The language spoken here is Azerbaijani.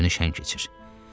Ömrünü şən keçir.